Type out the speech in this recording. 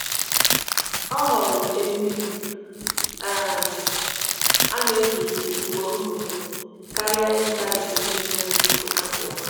ọ họọrọ ite mmiri um ana eji ugboro ugboro karia izuta ite mmiri ana ewepu kwa ụbọchi